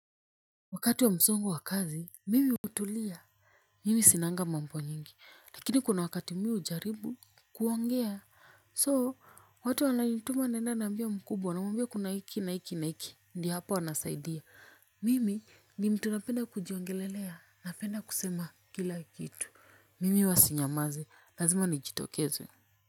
Wakati wa msongo wa kazi, mimi hutulia. Mimi sinanga mambo nyingi. Lakini kuna wakati mimi hujaribu kuongea. So, watu wananituma naenda naambia mkubwa. Wanamwambia kuna hiki na hiki na hiki. Ndiyo hapo anasaidia. Mimi ni mtu napenda kujiongelelea. Napenda kusema kila kitu. Mimi huwa sinyamazi. Lazima nijitokeze.